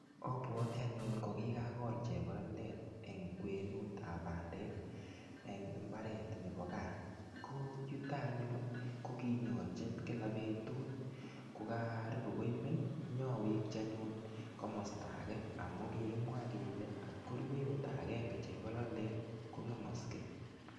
Obwotii anyun ko kikagol chebololet en kwenutab pandek en imbaret nebo gaa ko yuton anyun ko kinyolji Kila betut ko karibu koimen iyoweki anyun komosto age amun kikimwa kele kotko rue oldo agenge chebololet kongemoske.